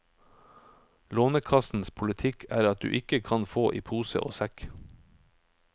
Lånekassens politikk er at du ikke kan få i pose og sekk.